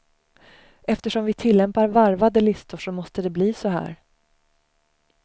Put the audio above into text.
Eftersom vi tillämpar varvade listor så måste det bli så här.